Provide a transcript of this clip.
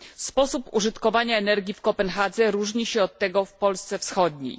Sposób użytkowania energii w Kopenhadze różni się od tego w Polsce wschodniej.